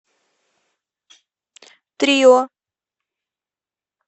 трио